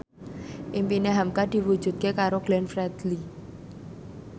impine hamka diwujudke karo Glenn Fredly